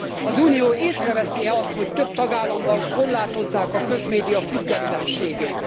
Az Unió észre veszi e azt, hogy több tagállamban korlátozzák a közmédia függetlenségét?